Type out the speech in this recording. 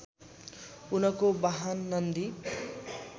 उनको बाहन नन्दी